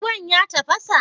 Ruwan ya tafasa?